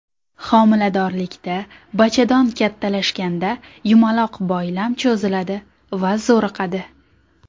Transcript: Homiladorlikda bachadon kattalashganda yumaloq boylam cho‘ziladi va zo‘riqadi.